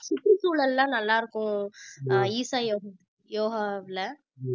சுற்றுச்சூழல் எல்லாம் நல்லா இருக்கும் ஆஹ் ஈஷா யோகா யோகாவுல